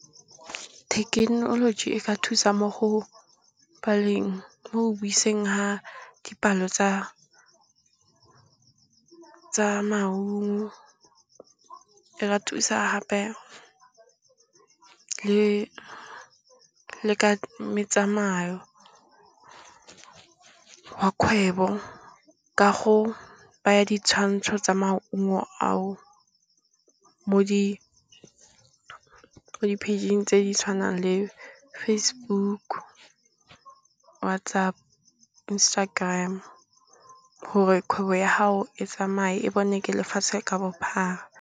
Thekenoloji e ka thusa mo go baleng, le mo go buiseng ga dipalo tsa maungo, e re thusa gape le ka metsamayo wa kgwebo ka go baya ditshwantsho tsa maungo ao mo di page-ing tse di tshwanang le Facebook, WhatsApp, Instagram gore kgwebo ya gago e tsamaye e bonwe ke lefatshe ka bophara.